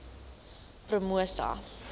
promosa